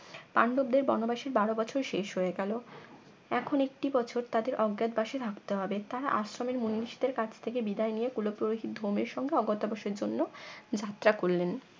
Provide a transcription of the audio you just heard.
পান্ডবদের বনবাসে বারো বছর শেষ হয়ে গেল এখন একটি বছর তাদের অজ্ঞাত বাসে থাকতে হবে তারা আশ্রমের মুনিঋষি দের কাছ থেকে বিদায় নিয়ে কুল পুরহিত ধুমের সঙ্গে অজ্ঞাতবাসের জন্য যাত্রা করলেন